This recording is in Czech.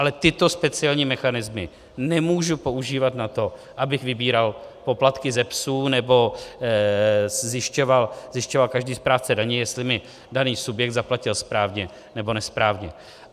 Ale tyto speciální mechanismy nemůžu používat na to, abych vybíral poplatky ze psů nebo zjišťoval každý správce daně, jestli mi daný subjekt zaplatil správně, nebo nesprávně.